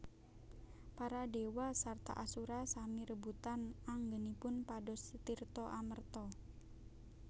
Para Dewa sarta Asura sami rebutan anggenipun pados tirta amerta